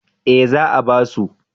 Eh za a ba su